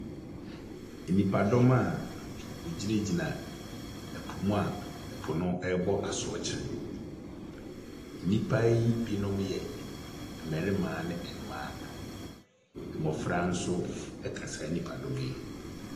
Nnipadɔm a wɔgyinagyina po mu a po no rebɔ asorɔkye. Nnipa yi binom yɛ mmarima ne mmaa. Mmɔfra nso ka saa nnipadɔm yi ho.